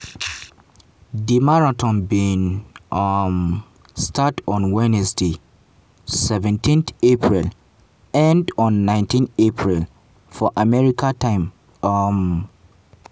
di marathon bin um start on wednesday seventeenapril end on 19 april for america time. um